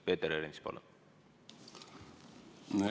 Peeter Ernits, palun!